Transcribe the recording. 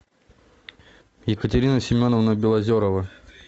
екатерина семеновна белозерова